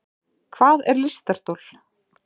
Hvað er lystarstol?